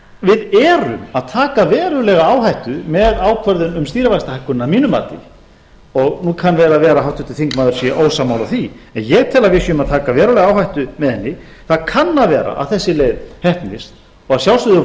við erum að taka verulega áhættu með ákvörðun um stýrivaxtahækkun að mínu mati nú kann vel að vera að háttvirtur þingmaður sé ósammála því en ég tel að við séum að taka verulega áhættu með henni það kann að vera að þessi leið heppnist og að sjálfsögðu